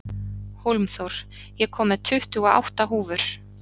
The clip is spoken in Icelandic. Hólmþór, ég kom með tuttugu og átta húfur!